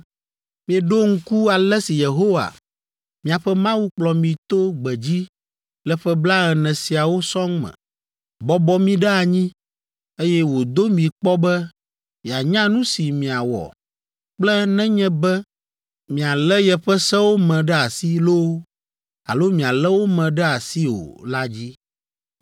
Mieɖo ŋku ale si Yehowa miaƒe Mawu kplɔ mi to gbedzi le ƒe blaene siawo sɔŋ me, bɔbɔ mi ɖe anyi, eye wòdo mi kpɔ be yeanya nu si miawɔ kple nenye be mialé yeƒe sewo me ɖe asi loo alo mialé wo me ɖe asi o la dzi.